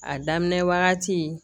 A daminɛ wagati